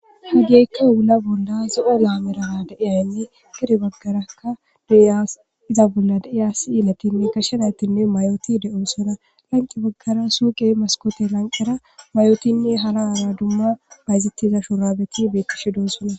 Hageykka ogula bolla zo'o laa merana deiyaynne giri baggarakka deias iza bolla daiya si ilatinne gashshe naytinne mayoti de'o sona lanqi baggara suuqe maskote lanqera mayotinne hala aara dumma bayzettiza shuraabeti beekishi doo sona.